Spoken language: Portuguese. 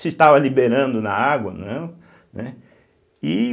Se estava liberando na água ou não, né. E